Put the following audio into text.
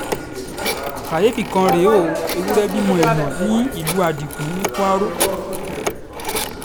káyééfì kan rèé o ewúrẹ́ bímọ èèyàn nílùú adigun ní kwaro